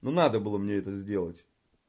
ну надо было мне это сделать